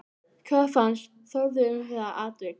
Hvað fannst Þórði um það atvik?